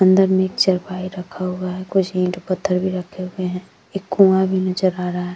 अंदर मे चारपाई रखा हुआ हैं कुछ ईट पत्थर भी रखे हुए हैं एक कुआ भी नजर आ रहा हैं।